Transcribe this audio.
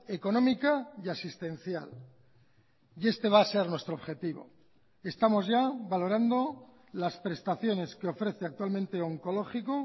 económica y asistencial y este va a ser nuestro objetivo estamos ya valorando las prestaciones que ofrece actualmente oncológico